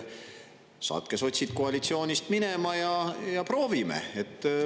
Saatke sotsid koalitsioonist minema ja proovime.